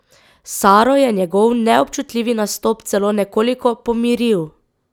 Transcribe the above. Saro je njegov neobčutljivi nastop celo nekoliko pomiril.